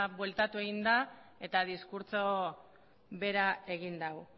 bueltatu egin da eta diskurtsoa bera egin du